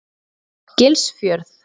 Gilsfjörð